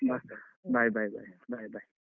ಬ bye bye bye bye bye .